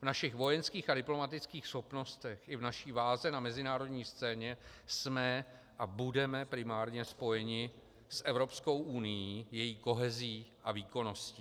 V našich vojenských a diplomatických schopnostech i v naší váze na mezinárodní scéně jsme a budeme primárně spojeni s Evropskou unií, její kohezí a výkonností.